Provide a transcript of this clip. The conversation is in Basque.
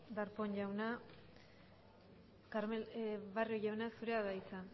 darpón jauna barrio jauna zurea da hitza